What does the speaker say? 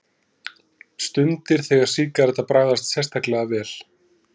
Stundir, þegar sígaretta bragðast sérstaklega vel.